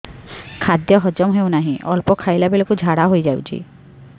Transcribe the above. ଖାଦ୍ୟ ହଜମ ହେଉ ନାହିଁ ଅଳ୍ପ ଖାଇଲା ବେଳକୁ ଝାଡ଼ା ହୋଇଯାଉଛି